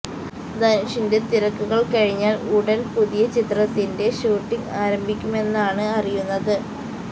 ധനുഷിന്റെ തിരക്കുകള് കഴിഞ്ഞാല് ഉടന് പുതിയ ചിത്രത്തിൻെറ ഷൂട്ടിങ് ആരംഭിക്കുെമന്നാണ് അറിയുന്നത്